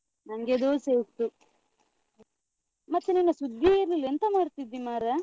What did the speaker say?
ನಂಗೆ ದೋಸೆ ಇತ್ತು. ಮತ್ತೆ ನಿನ್ನ ಸುದ್ದೀಯೇ ಇರ್ಲಿಲ್ಲ, ಎಂತ ಮಾಡ್ತಿದ್ದಿ ಮಾರ್ರೆ?